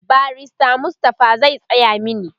barrister Mustapha zai Tsaya mani